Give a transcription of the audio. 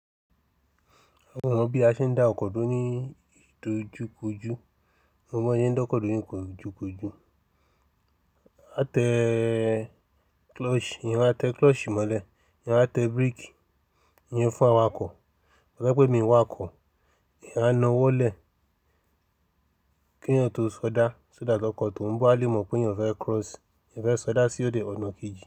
Mo mọ bí a ṣe ń dá ọkọ̀ duro ní ìdojúkojú, mo mọ̀ bon ṣe ń dọ́kọ̀ duro ní ìkojúkojú. A tẹ clutch, eeyan a tẹ clutch mọ́lẹ̀, eeyan a tẹ break, iyen fún awakọ̀. To ba jẹ́ pé mi i wa ọkọ̀, eeyan á na wọlẹ̀ k'eeyan tó sọdá, so that ọ́kọ̀ tó ń bó, a lè mọ̀ pé eeyan fẹ́ cross, eeyan fẹ́ sọdá sí òde ọ̀nà kejì.